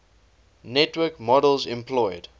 network models employed